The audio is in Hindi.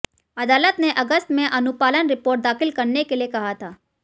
अदालत ने अगस्त में अनुपालन रिपोर्ट दाखिल करने के लिये कहा था